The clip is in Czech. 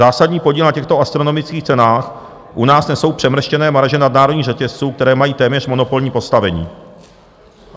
Zásadní podíl na těchto astronomických cenách u nás nesou přemrštěné marže nadnárodních řetězců, které mají téměř monopolní postavení.